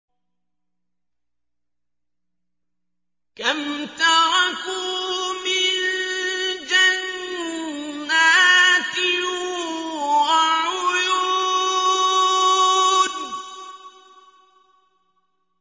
كَمْ تَرَكُوا مِن جَنَّاتٍ وَعُيُونٍ